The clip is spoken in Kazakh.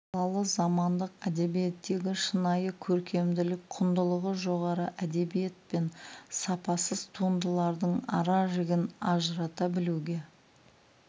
салалы замандық әдебиеттегі шынайы көркемдік құндылығы жоғары әдебиет пен сапасыз туындалардың ара жігін ажырата білуге